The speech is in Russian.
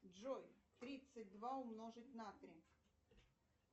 джой тридцать два умножить на три